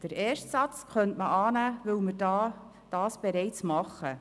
Den ersten Satz könnte man annehmen, weil wir dies bereits tun.